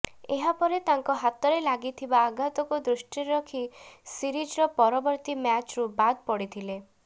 ଏହାପରେ ତାଙ୍କ ହାତରେ ଲାଗିଥିବା ଆଘାତକୁ ଦୃଷ୍ଟିରେ ରଖି ସିରିଜ୍ର ପରବର୍ତ୍ତୀ ମ୍ୟାଚ୍ରୁ ବାଦ୍ ପଡିଥିଲେ